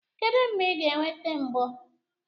Kedu mgbe ị ga-eweta mbọ?